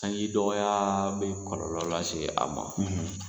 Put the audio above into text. Sanji dɔgɔya bɛ kɔlɔlɔ lase a ma.